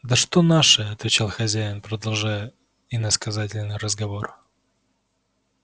да что наши отвечал хозяин продолжая иносказательный разговор